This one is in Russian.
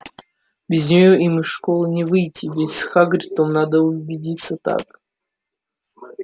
без нее им из школы не выйти ведь с хагридом надо увидеться так